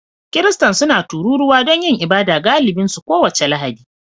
Kiristan suna taruwa don yin ibada galibi su kowace Lahadi